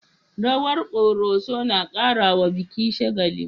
Rawar ƙoroso na karawa biki shagali.